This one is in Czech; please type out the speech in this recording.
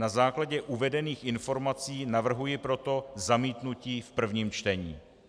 Na základě uvedených informací navrhuji proto zamítnutí v prvním čtení.